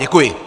Děkuji.